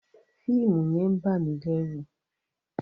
Fíìmù yẹn ń bà mí lẹ́ru.